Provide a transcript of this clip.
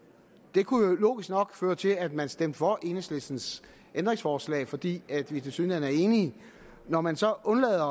det kunne jo logisk nok føre til at man stemte for enhedslistens ændringsforslag fordi vi tilsyneladende er enige når man så undlader at